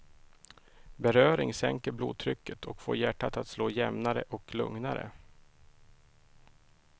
Beröring sänker blodtrycket och får hjärtat att slå jämnare och lugnare.